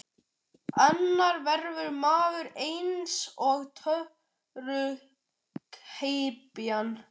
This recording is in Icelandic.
Annars verður maður eins og tötrughypjan.